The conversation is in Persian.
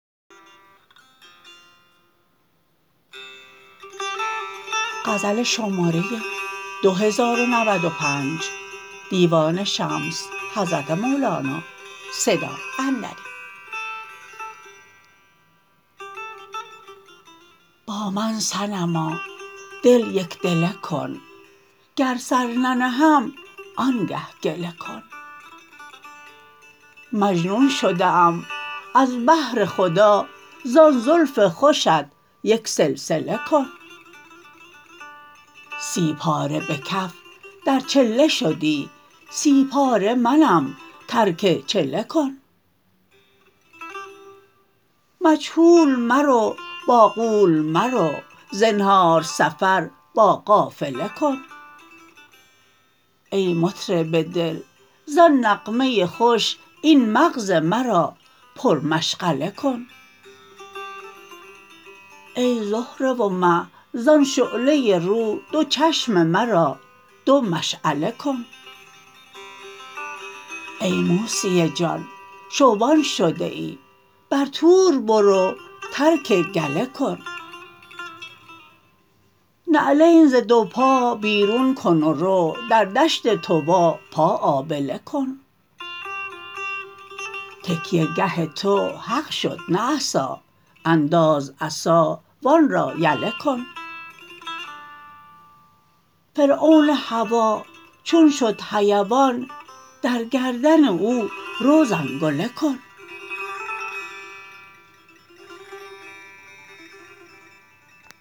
با من صنما دل یک دله کن گر سر ننهم آنگه گله کن مجنون شده ام از بهر خدا زان زلف خوشت یک سلسله کن سی پاره به کف در چله شدی سی پاره منم ترک چله کن مجهول مرو با غول مرو زنهار سفر با قافله کن ای مطرب دل زان نغمه خوش این مغز مرا پرمشغله کن ای زهره و مه زان شعله رو دو چشم مرا دو مشعله کن ای موسی جان شبان شده ای بر طور برو ترک گله کن نعلین ز دو پا بیرون کن و رو در دشت طوی پا آبله کن تکیه گه تو حق شد نه عصا انداز عصا و آن را یله کن فرعون هوا چون شد حیوان در گردن او رو زنگله کن